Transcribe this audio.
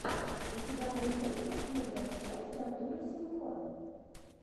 у тебя найдется первая часть артура сенко